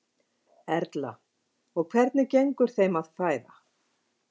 Erla: Og hvernig gengur þeim að fæða?